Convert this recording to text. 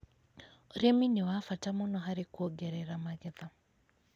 Ũrĩmi nĩ wa bata mũno harĩ kũongerera magetha.